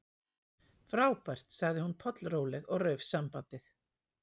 Frábært- sagði hún pollróleg og rauf sambandið.